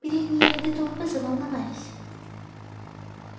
передние ряды толпы заволновались